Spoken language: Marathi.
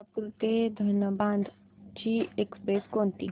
कोल्हापूर ते धनबाद ची एक्स्प्रेस कोणती